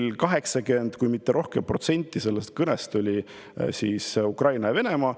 Umbes 80% kõnest kui mitte rohkem puudutas Ukrainat ja Venemaad.